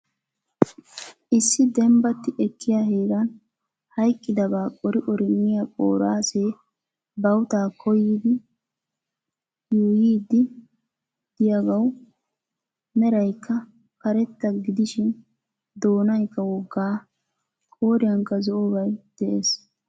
Issi dembbatti ekkiya heeran hayiqqidabaa qori qori miya qooraasee bawutaa koyiiddi yuuyyidi diyagawu merayikka karetta gidishin doonayikka wogaa qooriyankka zo'obay de'es.